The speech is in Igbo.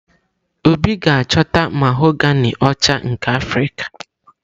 Obi ga-achọta mahogani ọcha nke Afrika.